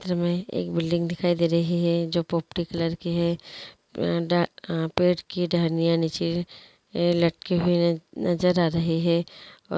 चित्र मे एक बिल्डिंग दिखाई दे रही हैं जो पोपटी कलर की हैं अ ड पेड़ नई डांडिया निचे लटकी हुई हैं नजर हां रही हैं।